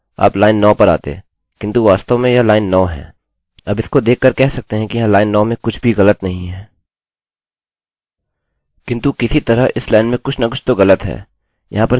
किन्तु किसी तरह इस लाइन में कुछ न कुछ तो ग़लत है यहाँ पर क्या हो रहा है कि php पीएचपीजिस तरह से पेजों का अर्थ लगाता है; वह एक लाइन के आधार पर है